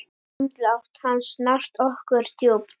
Andlát hans snart okkur djúpt.